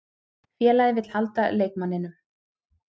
Félagið vill halda leikmanninum.